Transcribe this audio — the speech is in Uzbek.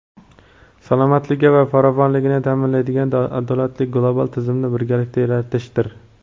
salomatligi va farovonligini ta’minlaydigan adolatli global tizimni birgalikda yaratishdir.